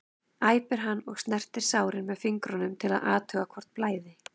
æpir hann og snertir sárin með fingrunum til að athuga hvort blæði.